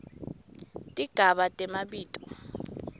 tigaba temabito